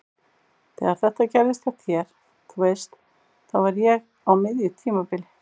Þegar þetta gerðist hjá þér. þú veist. þá var ég á miðju tímabili.